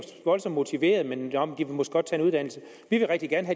voldsomt motiveret men måske godt en uddannelse vi vil rigtig gerne